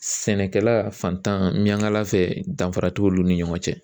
Sɛnɛkɛla fantan Miɲankala fɛ danfara t'olu ni ɲɔgɔn cɛ.